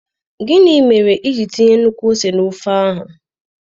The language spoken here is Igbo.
Gịnị mere iji tinye nnukwu ose na ofe áhu?